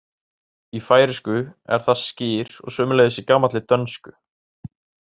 Í færeysku er það skyr og sömuleiðis í gamalli dönsku.